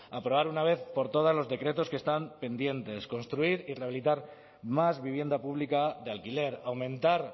aprobar de una vez por todas los decretos que están pendientes construir y rehabilitar más vivienda pública de alquiler aumentar